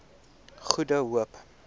goede hoop